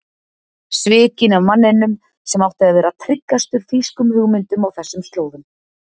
Svikinn af manninum sem átti að vera tryggastur þýskum hugmyndum á þessum slóðum.